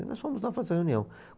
E nós fomos lá fazer a reunião.